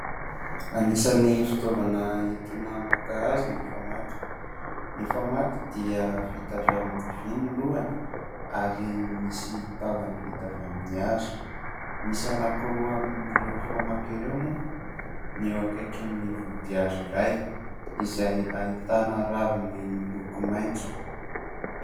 Anisan'ny fitaovana entina maka hazo ny famaky. Ny famaky dia vita avy amin'ny vy ny lohany ary misy tahony vita avy amin'ny hazo. Misy anankiroa amin'ireo famaky ireo moa ny eo akaikin'ny vody hazo iray izay ahitana raviny miloko maitso.